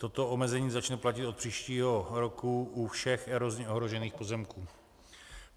Toto omezení začne platit od příštího roku u všech erozně ohrožených pozemků.